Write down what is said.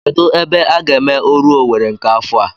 Kedụ ebe a ga-eme oru Owerri nke afọ a?